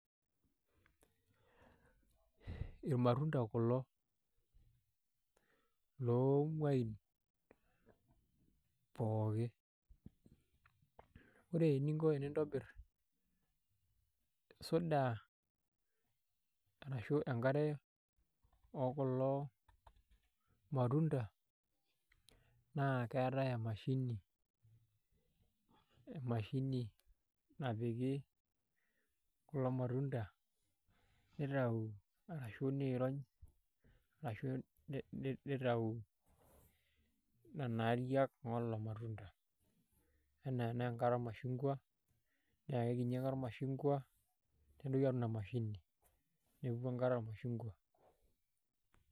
Elmatundaa kuloo lo ewueji pooki, ore eneing'o tinintibiir sodaa arashu nkaare o kuloo maatunda naa keetai emashini mashini naapiki kuloo maatunda nitaau arashu neeiroony arashu netaau nenia aariak olo maatunda. Ena nee nkaare olmachungwaa naa kekinyii ake elmaachungwaa nepiiki ena maashini neepuku nkaare e machungwaa.